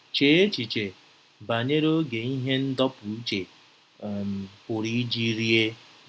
Chee echiche banyere oge ihe ndọpụ uche um pụrụ iji rie.